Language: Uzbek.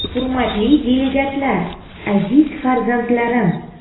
Hurmatli delegatlar, aziz farzandlarim!